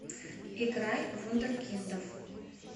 играй вундеркиндов